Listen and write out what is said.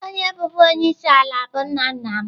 Onye bụbu onye isi ala bụ nna nna m.